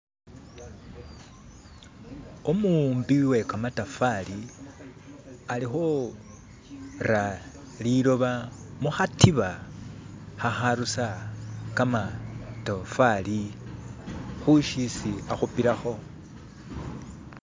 Umu'umbi we kamatafali, ali khura liloba mukhatiba kha kharusa kamatofali khu shisi akhupilakho